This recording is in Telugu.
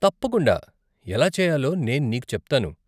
తప్పకుండా, ఎలా చేయాలో నేను నీకు చెప్తాను.